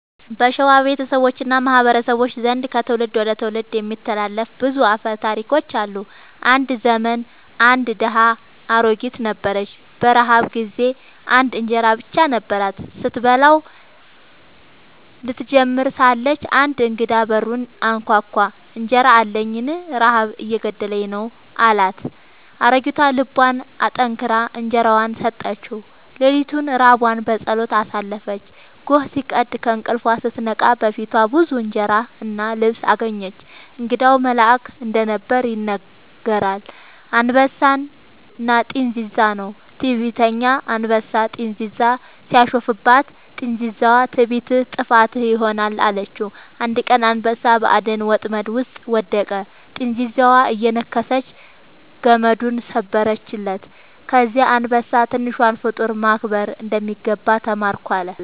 በሸዋ ቤተሰቦች እና ማህበረሰቦች ዘንድ ከትውልድ ወደ ትውልድ የሚተላለፉ ብዙ አፈ ታሪኮች አሉ። አንድ ዘመን አንድ ድሃ አሮጊት ነበረች። በረሃብ ጊዜ አንድ እንጀራ ብቻ ነበራት። ስትበላው ልትጀምር ሳለች አንድ እንግዳ በሩን አንኳኳ፤ «እንጀራ አለኝን? ረሃብ እየገደለኝ ነው» አላት። አሮጊቷ ልቧን አጠንክራ እንጀራዋን ሰጠችው። ሌሊቱን ራቧን በጸሎት አሳለፈች። ጎህ ሲቀድ ከእንቅልፏ ስትነቃ በፊቷ ብዙ እንጀራ እና ልብስ አገኘች። እንግዳው መልአክ እንደነበር ይነገራል። «አንበሳና ጥንዚዛ» ነው። ትዕቢተኛ አንበሳ ጥንዚዛን ሲያሾፍባት፣ ጥንዚዛዋ «ትዕቢትህ ጥፋትህ ይሆናል» አለችው። አንድ ቀን አንበሳ በአደን ወጥመድ ውስጥ ወደቀ፤ ጥንዚዛዋ እየነከሰች ገመዱን ሰበረችለት። ከዚያ አንበሳ «ትንሿን ፍጡር ማክበር እንደሚገባ ተማርኩ» አለ